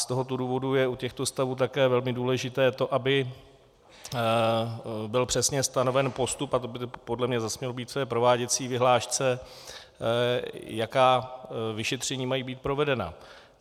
Z tohoto důvodu je u těchto stavů také velmi důležité to, aby byl přesně stanoven postup, a to by podle mě zase mělo být v prováděcí vyhlášce, jaká vyšetření mají být provedena.